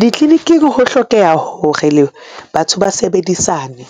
Ditleniking, ho hlokeha hore le batho ba sebedisane